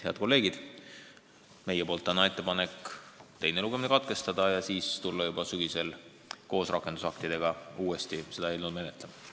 Head kolleegid, meie ettepanek on täna teine lugemine katkestada ja hakata seda eelnõu sügisel koos rakendusaktidega uuesti menetlema.